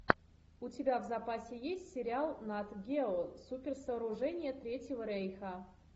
у тебя в запасе есть сериал нат гео суперсооружения третьего рейха